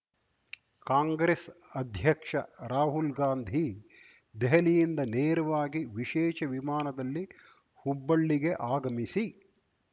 ಕಾಂಗ್ರೆಸ್ ಅಧ್ಯಕ್ಷ ರಾಹುಲ್‌ಗಾಂಧಿ ದೆಹಲಿಯಿಂದ ನೇರವಾಗಿ ವಿಶೇಷ ವಿಮಾನದಲ್ಲಿ ಹುಬ್ಬಳ್ಳಿಗೆ ಆಗಮಿಸಿ